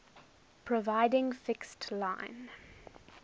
providing fixed line